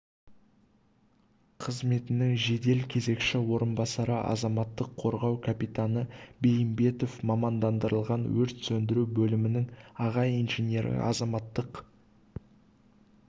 қызметінің жедел кезекші орынбасары азаматтық қорғау капитаны бәйімбетов мамандандырылған өрт сөндіру бөлімінің аға инженері азаматтық